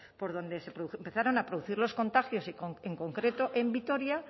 por donde se empezaron a producir los contagios y en concreto en vitoria